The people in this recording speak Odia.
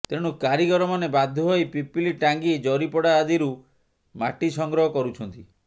ତେଣୁ କାରିଗରମାନେ ବାଧ୍ୟ ହୋଇ ପିପିଲି ଟାଙ୍ଗୀ ଜରିପଡ଼ା ଆଦିରୁ ମାଟି ସଂଗ୍ରହ କରୁଛନ୍ତି